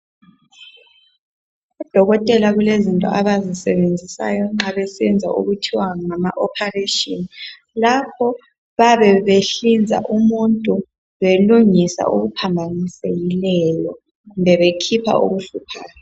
Odokotela kulezinto abazisebenzisayo nxa besenza okuthiwa ngama operation lapho bayabe behlinza umuntu belungisa okuphambanisekileyo kumbe bekhipha okuhluphayo